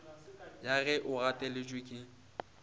ya ge o gateletše ke